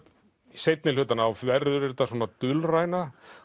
seinni hlutann þá verður þetta dulræna